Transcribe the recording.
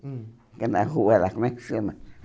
Hum Que é na rua lá, como é que chama?